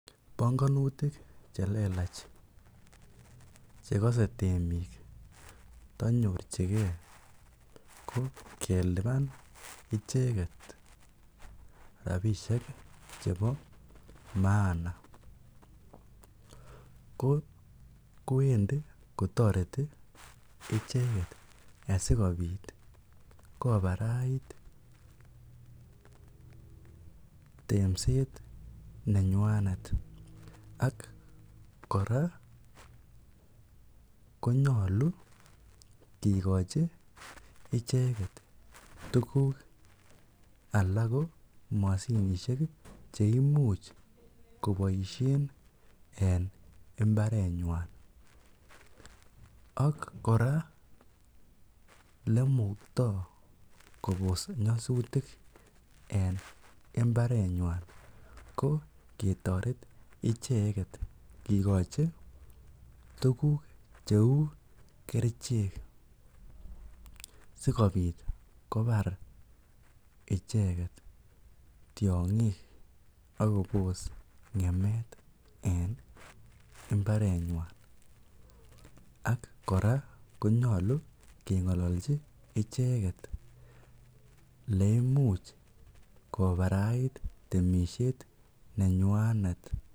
Bongonutik chelelach chekose temik tonyorchike ko keliban icheket rabishek chebo maana ko kwendi kotoreti ichekket asikobit kobarait temset nenywanet, ak kora konyolu kikochi icheket tukuk alak ko moshinishek cheimuch koboishen en imbarenywan ak kora elemukto kobos nyosutik en imbarenywan ko ketoret icheket kikochi tukuk cheu kerichek sikobit kobar icheket tiongik ak kobos ngemet en imbarenywan ak kora konyolu kengololchi icheket eleimuch kobarait temishet nenywanet.